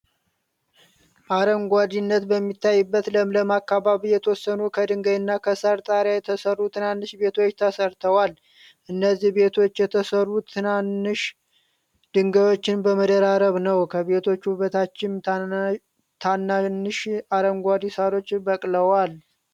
አረንጓዴነት በሚታይበት ለምለም አካባቢ የተወሰኑ ከድንጋይ እና ከሳር ጣሪያ የተሰሩ ትናንሽ ቤቶች ተሰርተዋል። እነዚህ ቤቶች የተሰሩት ትናናሽ ድንጋዮችን በመደራረብ ነው። ከቤቶቹ በታችም ታናንሽ አረንጓዴ ሳሮች በቅለዋል።